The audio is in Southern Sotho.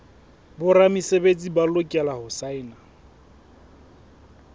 boramesebetsi ba lokela ho saena